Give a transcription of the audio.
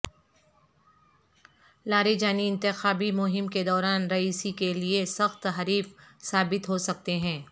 Larijani انتخابی مہم کے دوران رئیسی کے لیے سخت حریف ثابت ہو سکتے ہیں